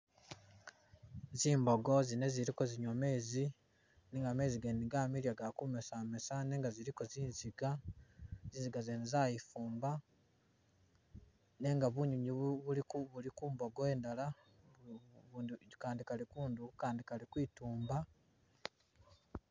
Zimboko zine zili kezinwya mezi nenga mezi gene gamiliya gali kumesamesa nenga ziliko zinziga, zinziga zene zayifumba nenga bunywinywi buliko buliko ku mbogo indala bu ubu akandi kali kundu akandi kali kwitumba.